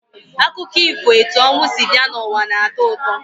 Akụkọ ifo etu ọnwụ si bịa n'ụwa na-atọ ụtọ.